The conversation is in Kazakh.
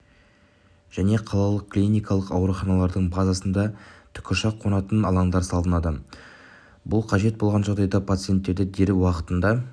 және қалалық клиникалық ауруханалардың базасында тікұшақ қонатын алаңдар салынды бұл қажет болған жағдайда пациентті дер уақытында